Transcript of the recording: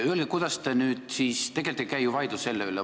Tegelikult ei käi ju vaidlus selle üle.